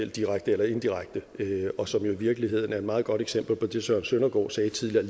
direkte eller indirekte og som i jo virkeligheden er et meget godt eksempel på det søren søndergaard sagde tidligere